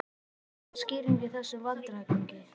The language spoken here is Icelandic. Gaf enga skýringu á þessum vandræðagangi.